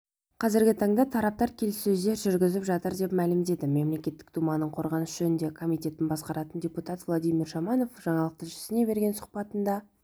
қазіргі таңда тараптар келіссөздер жүргізіп жатыр деп мәлімдеді мемлекеттік думаның қорғаныс жөніндегі комитетін басқаратын депутат владимир шаманов жаңалық тілшісіне берген сұхбатында